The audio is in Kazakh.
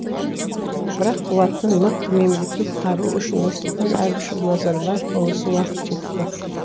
бірақ қуатты мықты мемлекет қару үшін нұрсұлтан әбішұлы назарбаевқа осы уақыт жетті